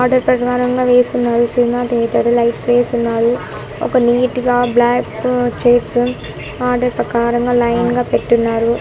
Order ప్రకారంగా వేసున్నారు cinema theatre lights వేసున్నారు ఒక నీట్ గా బ్లాకు చైర్స్ ఆర్డర్ ప్రకారం గా లైన్ గా పెట్టున్నారు.